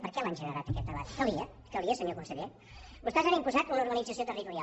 per què l’han generat aquest debat calia calia senyor conseller vostès han imposat una organització territorial